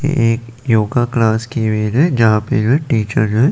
एक yoga class की है जहां पे ये टीचर हैं।